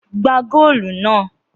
Gbá góòlù náà!